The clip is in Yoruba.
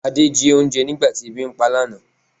Ade jí oúnjẹ nígbà tí ebi ń pá lánàá